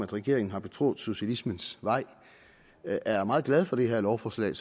regeringen har betrådt socialismens vej er meget glad for det her lovforslag